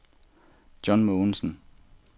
John Mogensen